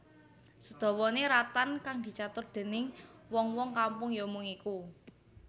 Sadawane ratan kang dicatur déning wong wong kampung ya mung iku